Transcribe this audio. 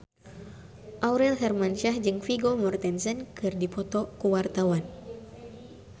Aurel Hermansyah jeung Vigo Mortensen keur dipoto ku wartawan